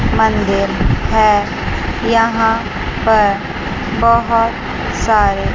मन्दिर है यहां पर बहोत सारे--